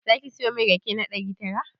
Zaki siyo min rake na ɗari tara?